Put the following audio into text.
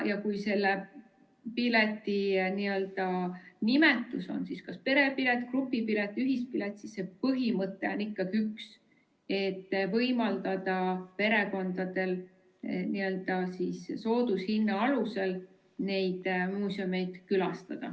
Ja kui selle pileti nimetus on kas perepilet, grupipilet või ühispilet, siis põhimõte on ikkagi üks: võimaldada perekondadel soodushinna alusel muuseume külastada.